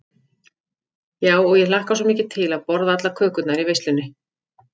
Já, og ég hlakka svo mikið til að borða allar kökurnar í veislunni.